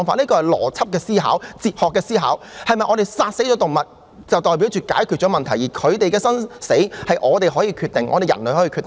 這涉及邏輯及哲學的思考：是否殺死動物便代表解決了問題，而牠們的生死是可由我們人類決定的？